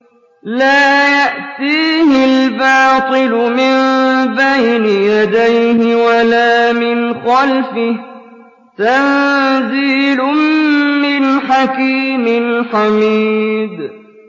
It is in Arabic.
لَّا يَأْتِيهِ الْبَاطِلُ مِن بَيْنِ يَدَيْهِ وَلَا مِنْ خَلْفِهِ ۖ تَنزِيلٌ مِّنْ حَكِيمٍ حَمِيدٍ